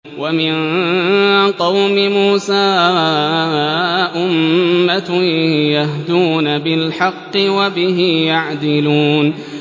وَمِن قَوْمِ مُوسَىٰ أُمَّةٌ يَهْدُونَ بِالْحَقِّ وَبِهِ يَعْدِلُونَ